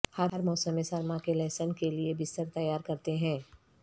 ہم موسم سرما کے لہسن کے لئے بستر تیار کرتے ہیں